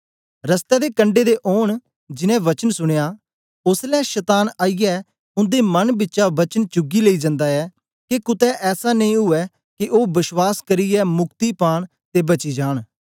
रस्ते दे कंडै दे ओन जिन्नें वचन सुनया ओसलै शतान आईयै उन्दे मन बिचा वचन चुगी लेई जन्दा ऐ के कुतै ऐसा नेई ऊऐ के ओ बश्वास करियै मुक्ति पान ते बची जान